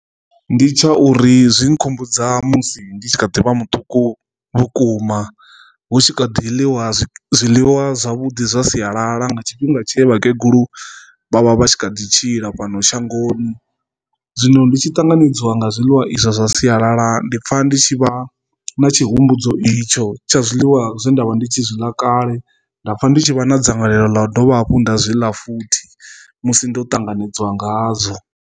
Ndi tsha uri zwi nkhumbudza musi ndi tshi kha ḓivha muṱuku vhukuma hu tshi kha ḓi ḽiwa zwiḽiwa zwavhudi zwa sialala nga tshifhinga tshe vhakegulu vha vha vha tshi kha ḓi tshila fhano shangoni, zwino ndi tshi ṱanganedzwa nga zwiḽiwa izwo zwa sialala ndi pfha ndi tshi vha na tshihumbudzi itsho tsha zwiḽiwa zwe ndavha ndi tshi zwi ḽa kale nda pfha ndi tshi vha na dzangalelo ḽa u dovha hafhu nda zwiḽa futhi musi ndo ṱanganedzwa ngazwo.